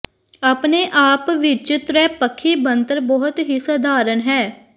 ਆਪਣੇ ਆਪ ਵਿਚ ਤ੍ਰੈਪੱਖੀ ਬਣਤਰ ਬਹੁਤ ਹੀ ਸਧਾਰਨ ਹੈ